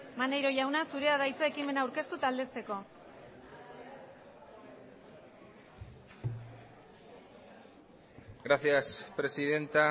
maneiro jauna zurea da hitza ekimena aurkeztu eta aldezteko gracias presidenta